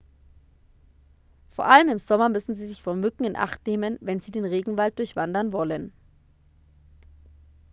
vor allem im sommer müssen sie sich vor mücken in acht nehmen wenn sie den regenwald durchwandern wollen